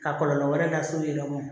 Ka kɔlɔlɔ wɛrɛ lase yɛrɛ mɔ